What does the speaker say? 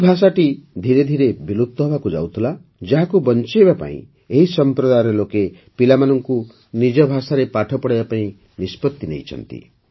ଏ ଭାଷାଟି ଧିରେ ଧିରେ ବିଲୁପ୍ତ ହେବାକୁ ଯାଉଥିଲା ଯାହାକୁ ବଞ୍ଚାଇବା ଏହି ସମ୍ପ୍ରଦାୟର ଲୋକେ ପିଲାମାନଙ୍କୁ ନିଜ ଭାଷାରେ ପାଠ ପଢ଼ାଇବାକୁ ନିଷ୍ପତ୍ତି ନେଇଛନ୍ତି